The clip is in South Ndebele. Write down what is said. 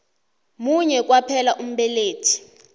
munye kwaphela umbelethi